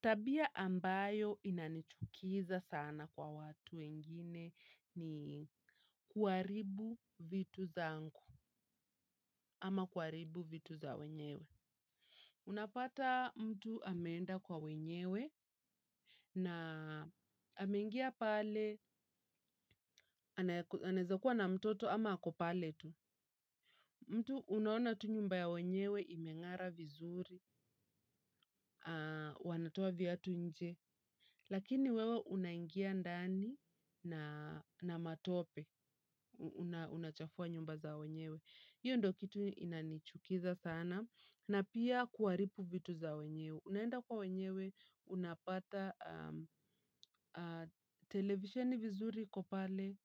Tabia ambayo inanichukiza sana kwa watu wengine ni kuharibu vitu zangu ama kuharibu vitu za wenyewe. Unapata mtu ameenda kwa wenyewe. Na amengia pale anaweza kuwa na mtoto ama ako pale tu. Mtu unaona tu nyumba ya wenyewe imeng'ara vizuri. Wanatoa viatu nje. Lakini wewe unaingia ndani na matope, unachafua nyumba za wenyewe. Hiyo ndo kitu inanichukiza sana, na pia kuwaribu vitu za wenyewe. Unaenda kwa wenyewe, unapata televisheni vizuri iko pale,